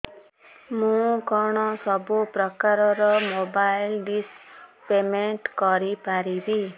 ମୁ କଣ ସବୁ ପ୍ରକାର ର ମୋବାଇଲ୍ ଡିସ୍ ର ପେମେଣ୍ଟ କରି ପାରିବି